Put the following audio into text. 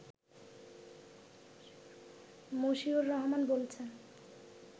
মশিউর রহমান বলছেন